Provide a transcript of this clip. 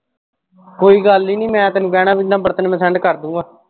ਕੋਈ ਗੱਲ ਹੀ ਨਹੀ ਮੈਂ ਤੈਨੂੰ number ਤੈਨੂੰ ਮੈਂ send ਕਰਦੂੰਗਾ।